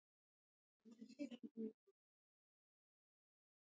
ólíkt spendýrum þá pissa fuglar ekki